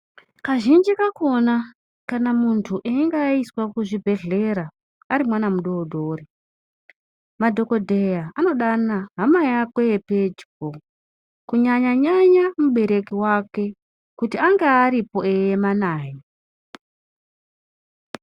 Kazhinji kakona kana muntu einge aiswa kuzvibhedhlera arimwana mudodori madhokodheya anodana hama yako yepedyo kunyanyanya mubereki wake kuti ange aripo eiema naye .